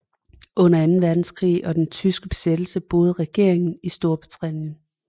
Under Anden Verdenskrig og den tyske besættelse boede regeringen i Storbritannien